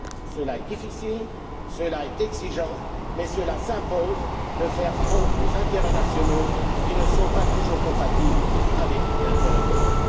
Cela est difficile, exigeant mais cela s'impose il faut faire front aux intérêts nationaux qui ne sont pas toujours compatibles avec l'intérêt commun.